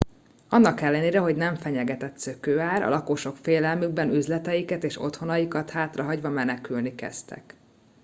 annak ellenére hogy nem fenyegetett szökőár a lakosok félelmükben üzleteiket és otthonaikat hátrahagyva menekülni kezdtek